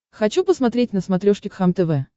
хочу посмотреть на смотрешке кхлм тв